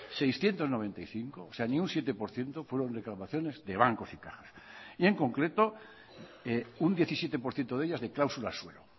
seiscientos noventa y cinco o sea ni un siete por ciento fueron reclamaciones de bancos y cajas y en concreto un diecisiete por ciento de ellas de cláusulas suelo